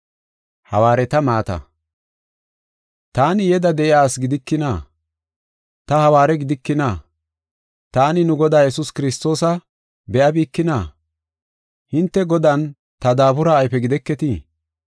Taani yeda de7iya asi gidikina? Ta hawaare gidikina? Taani nu Godaa Yesuus Kiristoosa be7abikina? Hinte Godan ta daabura ayfe gideketii?